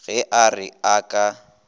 ge a re a ka